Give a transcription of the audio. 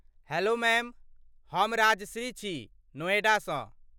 Hello ma'am, हम राजश्री छी, नोएडासँ।